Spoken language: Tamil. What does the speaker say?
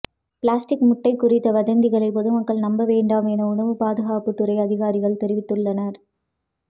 பிளாஸ்டிக் முட்டை குறித்த வதந்திகளை பொதுமக்கள் நம்ப வேண்டாம் என உணவு பாதுகாப்பு துறை அதிகாரிகள் தெரிவித்துள்ளனர்